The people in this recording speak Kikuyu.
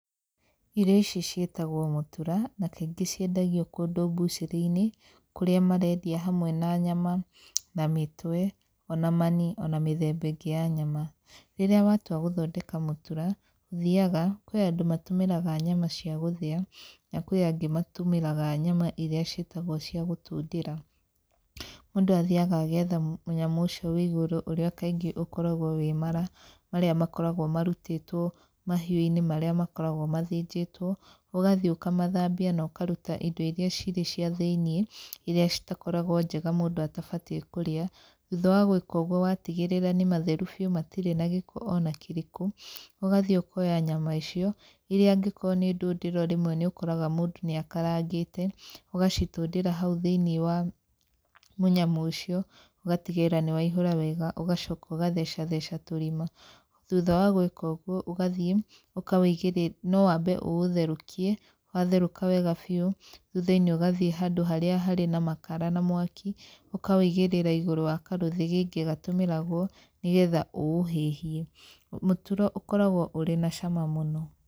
Irio ici ciĩtagwo mũtura na kaingĩ ciendagio kũndũ mbucĩrĩ-inĩ kũrĩa marendia hamwe na nyama na mĩtwe ona mani ona mĩthemba ĩngĩ ya nyama. Rĩrĩa watua gũthondeka mũtura, ũthiaga, kwĩ andũ matumĩraga nyama cia gũthĩa, na kwĩ angĩ matũmĩraga nyama irĩa ciĩtagwo cia gũtũndĩra. Mũndũ athiaga agetha mũnyamũ ũcio wĩ igũrũ, ũrĩa kaingĩ ũkoragwo wĩ mara marĩa makoragwo marutĩtwo mahiũ-inĩ marĩa makoragwo mathĩnjĩtwo, ũgathiĩ ũkamathambia na ũkaruta indo irĩa cirĩ cia thĩiniĩ irĩa citakoragwo njega mũndũ atabatiĩ kũrĩa. Thutha wa gwĩka ũguo watigĩrĩra nĩ matheru biũ matirĩ na gĩko ona kĩrĩkũ, ũgathiĩ ũkoya nyama icio, irĩa angĩkorwo nĩ ndũndĩro rĩmwe nĩ ũkoraga mũndũ nĩ akarangĩte, ũgacitũndĩra hau thĩiniĩ wa mũnyamũ ũcio, ũgatigĩrĩra nĩ waihũra wega ũgacoka ũgatheca theca tũrima. Thutha wa gwĩka ũguo ,ũgathiĩ ũkawĩigĩrĩra. No wambe ũũtherũkie, watherũka wega biũ, thutha-inĩ ũgathiĩ handũ harĩa harĩ na makara na mwaki, ũkawĩigĩrĩra igũrũ wa karũthĩgĩngĩ gatũmĩragwo nĩ getha ũũhĩhie. Mũtura ũkoragwo ũrĩ na cama mũno.